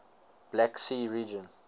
black sea region